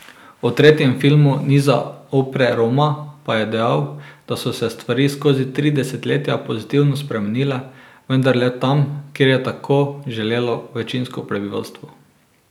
O tretjem filmu niza Opre Roma pa je dejal, da so se stvari skozi tri desetletja pozitivno spremenile, vendar le tam, kjer je tako želelo večinsko prebivalstvo.